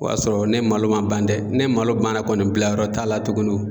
O y'a sɔrɔ ni malo man ban dɛ, ni malo banna kɔni bila yɔrɔ t'a la tuguni